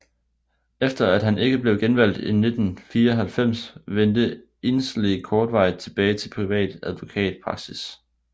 Efter at han ikke blev genvalgt i 1994 vendte Inslee kortvarigt tilbage til privat advokatpraksis